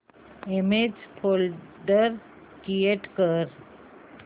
image folder create कर